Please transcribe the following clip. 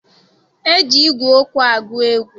E ji ígwè okwu agụ egwu.